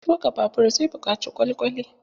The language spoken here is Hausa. Tuƙa babur zai buƙaci kwalkwali.